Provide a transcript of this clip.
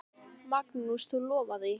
Magnús: Þú lofar því?